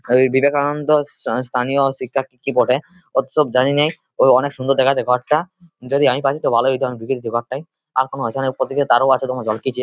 ওই বিবেকানন্দ স্থানীয় শিক্ষা কি কি বটে অত সব জানিনায় অনেক সুন্দর দেখাচ্ছে | ঘরটা যদি আমি পারি তো ভালোই । হত অমিত ঢুকে দিতি ঘরটায় আরো তরো আছে ঝলকিছে ।